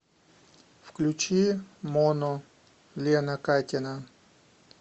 включи моно лена катина